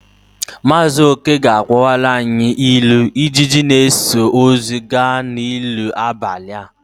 Maazị oke ga-akọwara anyị ilu " Ijiji na-eso ozu ga n'ili abalị a "